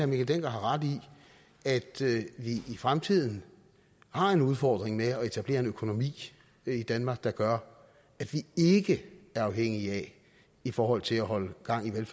mikkel dencker har ret i at vi i fremtiden har en udfordring med at etablere en økonomi i danmark der gør at vi ikke er afhængige af i forhold til at holde gang i